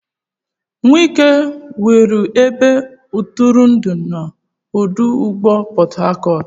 Wike wuru ebe ntụrụndụ na ọdụ ụgbọ Port Harcourt.